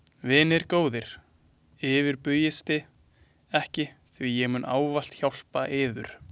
Vinir góðir, yfirbugisti ekki því ég mun ávallt hjálpa yður.